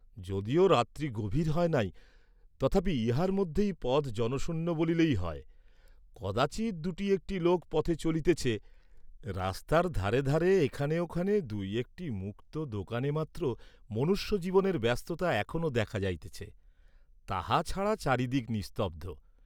যদিও রাত্রি গভীর হয় নাই, তথাপি ইহার মধ্যেই পথ জনশূন্য বলিলেই হয়, কদাচিৎ দুটি একটি লোক পথে চলিতেছে, রাস্তার ধারে ধারে এখানে ওখানে দুই একটি মুক্ত দোকানে মাত্র মনুষ্যজীবনের ব্যস্ততা এখনো দেখা যাইতেছে, তাহা ছাড়া চারিদিক নিস্তব্ধ।